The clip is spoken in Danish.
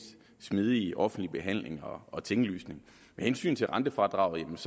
smidige offentlige behandling og tinglysning med hensyn til rentefradraget